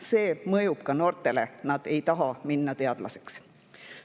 See mõjub ka noortele, nad ei taha minna teadlaseks.